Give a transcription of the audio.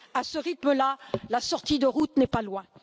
À ce rythme là, la sortie de route n'est pas loin.